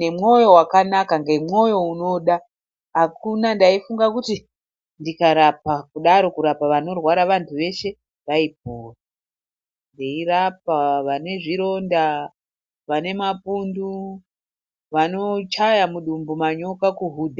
nemoyo wakanaka nemoyo unoda akuna ndaifunga kuti ndikarapa kudaro kurapa vanorwara vantu veshe vaipona ndeirapa vane zvironda vane mapundu vanochaya mudumbu manyoka kuhudha.